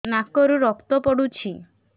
ନାକରୁ ରକ୍ତ ପଡୁଛି